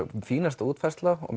fínasta útfærsla og